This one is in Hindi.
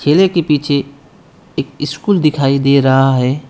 ठेले के पीछे एक स्कूल दिखाई दे रहा है।